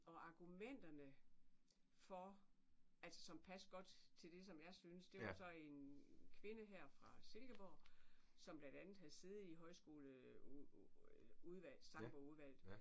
Og argumenterne for altså som passede godt til det som jeg synes det var så en kvinde her fra Silkeborg som blandt andet havde siddet i højskole udvalg sangbogudvalget